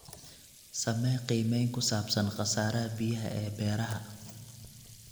Samee qiimeyn ku saabsan khasaaraha biyaha ee beeraha.